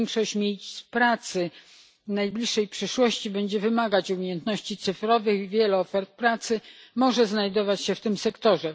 Większość miejsc pracy w najbliższej przyszłości będzie wymagać umiejętności cyfrowych, wiele ofert pracy może znajdować się w tym sektorze.